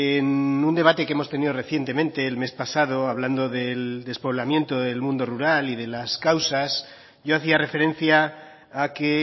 en un debate que hemos tenido recientemente el mes pasado hablando del despoblamiento del mundo rural y de las causas yo hacía referencia a que